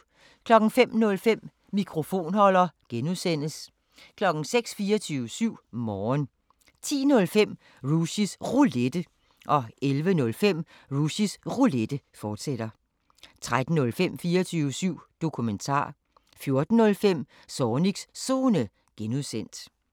05:05: Mikrofonholder (G) 06:00: 24syv Morgen 10:05: Rushys Roulette 11:05: Rushys Roulette, fortsat 13:05: 24syv Dokumentar 14:05: Zornigs Zone (G)